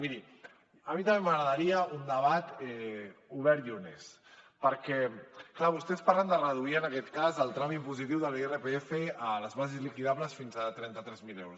miri a mi també m’agradaria un debat obert i honest perquè és clar vostès parlen de reduir en aquest cas el tram impositiu de l’irpf a les bases liquidables fins a trenta tres mil euros